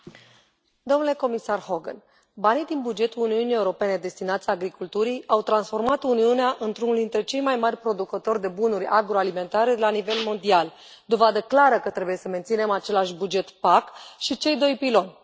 Domnule președinte, domnule comisar Hogan, banii din bugetul Uniunii Europene destinați agriculturii au transformat Uniunea într unul dintre cei mai mari producători de bunuri agroalimentare la nivel mondial, dovadă clară că trebuie să menținem același buget PAC și cei doi piloni.